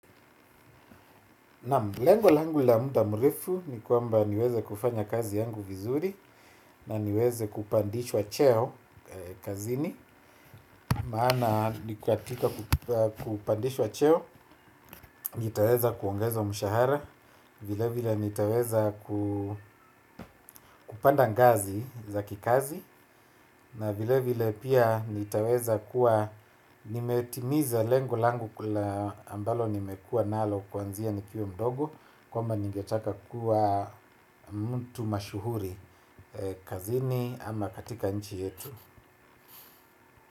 Lengo langu la mda mrefu ni kwamba niweze kufanya kazi yangu vizuri na niweze kupandishwa cheo kazini. Maana ni kwa katika kupandishwa cheo, nitaweza kuongezwa mshahara, vile vile nitaweza kupanda ngazi za kikazi. Na vile vile pia nitaweza kuwa nimetimiza lengo langu ku la ambalo nimekua nalo kuanzia nikio mdogo. Kwamba ningetaka kuwa mtu mashuhuri kazini ama katika nchi yetu.